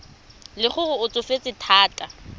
le gore o tsofetse thata